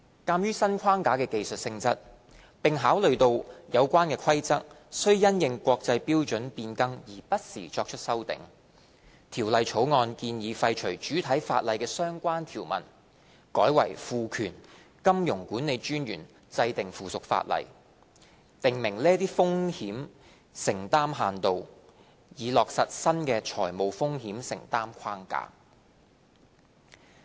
鑒於新框架的技術性質，並考慮到有關的規則須因應國際標準變更而不時作出修訂，《條例草案》建議廢除主體法例的相關條文，改為賦權金融管理專員制定附屬法例，訂明這些風險承擔限度，以落實新的財務風險承擔框架。